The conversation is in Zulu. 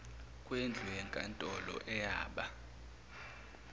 kwendlu yenkantolo ayaba